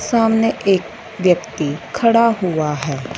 सामने एक व्यक्ति खड़ा हुआ है।